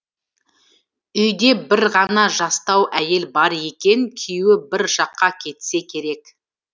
үйде бір ғана жастау әйел бар екен күйеуі бір жаққа кетсе керек